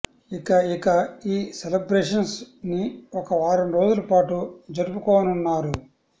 ఇక ఇక ఈ సెలెబ్రేషన్స్ నిఒక వారం రోజుల పాటు జరుపుకోనున్నారు